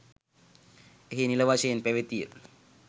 එහි නිල වශයෙන් පැවතිය